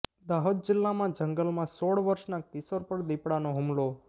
દાહોદ જિલ્લામાં જંગલમાં સોળ વર્ષના કિશોર પર દીપડાનો હુમલો